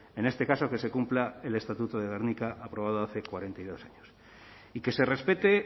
en este caso que se cumpla el estatuto de gernika aprobado hace cuarenta y dos años y que se respete